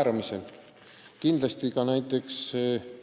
otsustamisele.